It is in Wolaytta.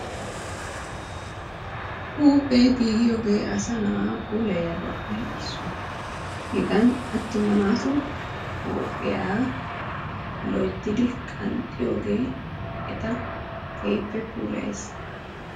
Huuphee giigiyooge asa na'a puulayiyaabappe issuwaa. hegan attuma naatu huuphiya loyttidi qanxxiyooge eta keehippe puulayes.